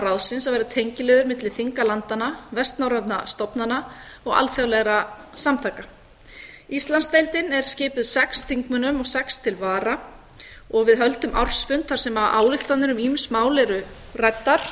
ráðsins að vera tengiliður milli þinga landanna vestnorrænna stofnana og alþjóðlegra samtaka íslandsdeildin er skipuð sex þingmönnum og sex til vara og við höldum ársfund þar sem ályktanir um ýmis mál eru ræddar